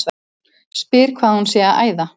Spyr hvað hún sé að æða.